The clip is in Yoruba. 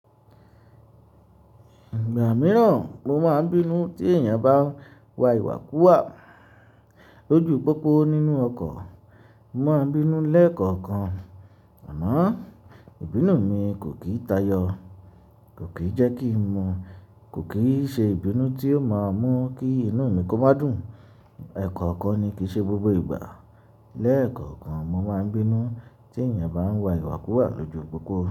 Ìgbà mìíràn, mo máa ń bínú tí èèyàn bá ń wa ìwàkú wà lójú pópó, nínú ọkọ̀. Mo máa ń bínú lẹ́ẹ̀kọ̀kan. Àmọ́, ìbínú mi kò kì í tayọ. Kò kì í jẹ́ kí n mọ́. Kò kì í ṣe ìbínú, tí ó máa mú kí inú mi kó má dùn. Ẹ̀kọ̀ọ̀kan ni, kìí ṣe gbogbo ìgbà. Lẹ́ẹ̀kọ̀kan mo máa ń bínú tí èèyàn bá ń wa ìwàkú wà lójú pópó.